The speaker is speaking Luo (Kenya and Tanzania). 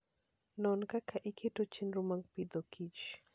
Non kaka iketo chenro mag Agriculture and Food.